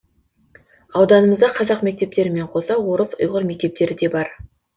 ауданымызда қазақ мектептерімен қоса орыс ұйғыр мектептері де бар